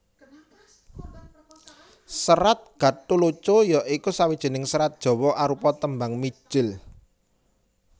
Serat Gatholoco ya iku sawijining serat Jawa arupa tembang mijil